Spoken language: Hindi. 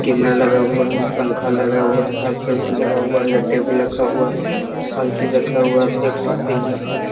केमरा लगा हुआ है पंखा लगा हुआ है हर लगा हुआ है इधर टेबुल लक्खा हुआ है हल चीज रक्खा हुआ है आप देख सकते यहां पर।